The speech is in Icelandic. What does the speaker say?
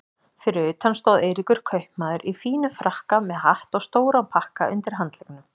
Fyrir utan stóð Eiríkur kaupmaður í fínum frakka með hatt og stóran pakka undir handleggnum.